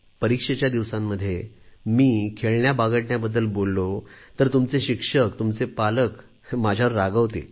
परीक्षेच्या दिवसांमध्ये मी खेळण्याबागडण्याबद्दल बोललो तर तुमचे शिक्षक तुमचे पालक माझ्यावर रागावतील